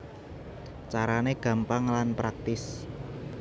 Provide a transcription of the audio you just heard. Carané gampang lan praktis